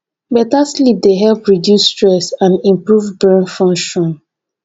beta sleep dey help reduce stress and improve brain function